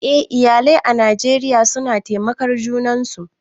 Eh, iyalai a Najeriya suna taimakar junan su